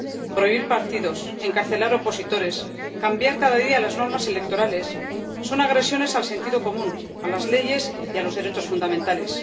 prohibir partidos, encarcelar opositores, cambiar cada día las normas electorales son agresiones al sentido común, a las leyes y a los derechos fundamentales.